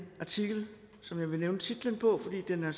artikel som jeg vil nævne titlen på fordi den er